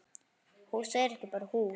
Hús er ekki bara hús.